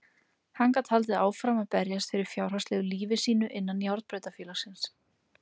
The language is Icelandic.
Hann gat haldið áfram að berjast fyrir fjárhagslegu lífi sínu innan járnbrautarfélagsins.